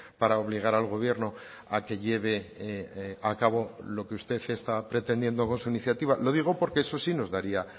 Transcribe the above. para obligar al gobierno a que lleve a cabo lo que usted está pretendiendo con su iniciativa lo digo porque eso si nos daría